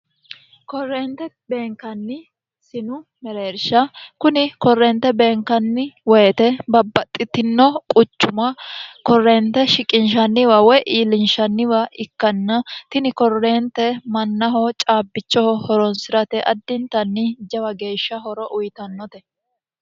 korreente beenkanni sinu mereersha kuni korreente beenkanni woyite babbaxxitino quchuma korreente shiqinshanniwa woy iillinshanniwa ikkanna tini korreente mannaho caabbichoho horonsi'rate addintanni jawa geeshsha horo uyitannote